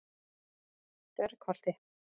Dvergholti